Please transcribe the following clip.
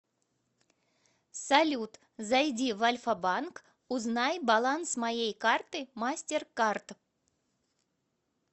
салют зайди в альфа банк узнай баланс моей карты мастеркард